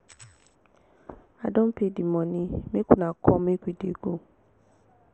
i don pay the money make una come make we dey go